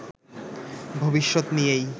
ভবিষ্যত নিয়েই